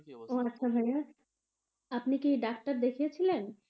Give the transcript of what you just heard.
ও আচ্ছা ভাইয়া আপনি কি ডাক্তার দেখিয়েছিলেন?